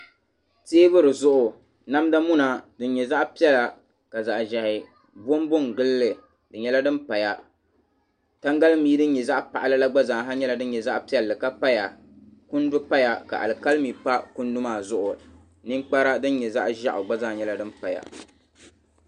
Tɛɛbuli namda muna dini yɛ zaɣi piɛlla ka zaɣi zɛhi bonbo ngili li di yɛla dini paya tangalimii dini yɛ zaɣi paɣila la gba zaa ha dini yɛ zaɣi piɛlli ka paya kundu paya ka ka alikalimi pa kundu maa zuɣu nini kpara dini yɛ zaɣi zɛɣu gba zaa yɛla din paya.